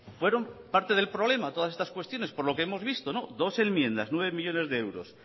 fueron parte del problema todas estas cuestiones por lo que hemos visto dos enmiendas nueve millónes de euros